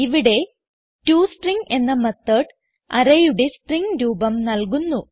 ഇവിടെ ടോസ്ട്രിംഗ് എന്ന മെത്തോട് arrayയുടെ സ്ട്രിംഗ് രൂപം നൽകുന്നു